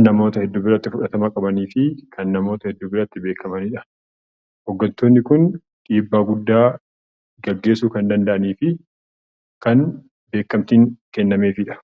namoota hedduu biratti fudhatama qabuu fi namoota hedduu biratti beekamanidha. Hooggantoonni Kun dhiibbaa guddaa geessisuu kan danda'anii fi kan beekamtiin kennameefidha.